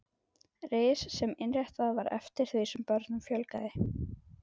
Ris sem innréttað var eftir því sem börnum fjölgaði.